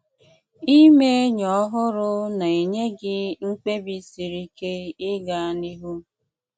Íme enyì ọhụrụ̀ na-enye gị mkpebì siri ike ị̀gà n’ihù.